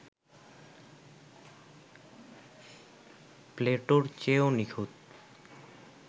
প্লেটোর চেয়েও নিখুঁত